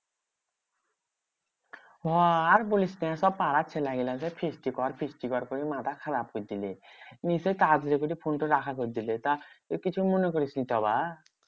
হ্যাঁ আর বলিস না, সব পাড়ার ছেলেগুলো সেই feast কর feast কর করে মাথা খারাপ করে দিলে। নিশ্চই তাড়াতাড়ি করে ফোনটা রাখা করে দিলে। কিছু মনে করিসনি তো আবার?